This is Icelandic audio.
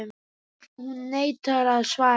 PÁLL: Hún neitar að svara.